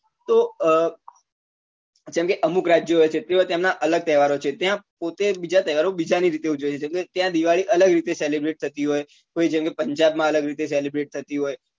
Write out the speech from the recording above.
તો અ જેમ કે અમુક રાજ્યો હોય છે તેઓ તેમના અલગ તહેવારો હોય છે ત્યાં પોતે બીજા તહેવાર ઓ બીજા ની રીતે ઉજવતા હોય છે જેમ કે દિવાળી અલગ રીતે celebrate થતી હોય કોઈ જેમ કે પંજાબ માં અલગ રીતે celebrate થતી